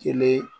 Kelen